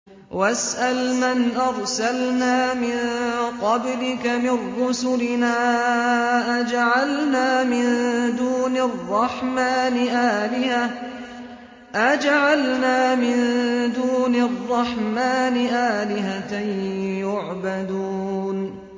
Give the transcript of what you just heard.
وَاسْأَلْ مَنْ أَرْسَلْنَا مِن قَبْلِكَ مِن رُّسُلِنَا أَجَعَلْنَا مِن دُونِ الرَّحْمَٰنِ آلِهَةً يُعْبَدُونَ